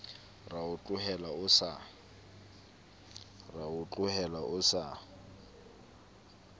ra o tlohela o sa